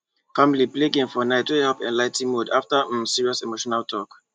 family play game for night wey help ligh ten mood after um serious emotional talk